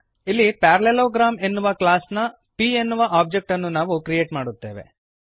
ಇಲ್ಲಿ ಪ್ಯಾರಲೆಲೋಗ್ರಾಮ್ ಎನ್ನುವ ಕ್ಲಾಸ್ ನ p ಎನ್ನುವ ಒಬ್ಜೆಕ್ಟ್ ಅನ್ನು ನಾವು ಕ್ರಿಯೇಟ್ ಮಾಡುತ್ತೇವೆ